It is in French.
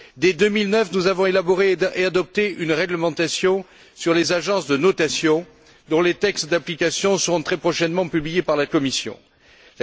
Dès 2009, nous avons élaboré et adopté une réglementation sur les agences de notation dont les textes d'application seront très prochainement publiés par la Commission européenne.